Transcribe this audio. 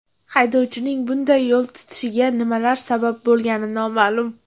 Haydovchining bunday yo‘l tutishiga nima sabab bo‘lgani noma’lum.